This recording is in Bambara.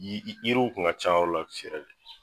Yiri yiriw tun ka ca yɔrɔ la yɛrɛ de